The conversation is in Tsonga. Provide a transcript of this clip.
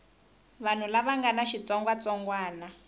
vanhu lava nga na xitsongwatsongwana